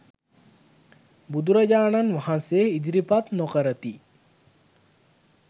බුදුරජාණන් වහන්සේ ඉදිරිපත් නොකරති.